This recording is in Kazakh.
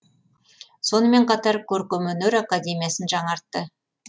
сонымен қатар көркемөнер академиясын жаңартты